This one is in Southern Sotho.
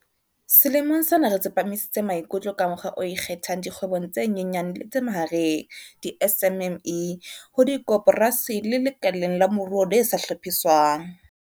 Selemong sena re tsepamisitse maikutlo ka mokgwa o ikgethang dikgwebong tse nyenyane le tse mahareng di-SMME, ho dikoporasi le lekaleng la moruo le sa hlophiswang.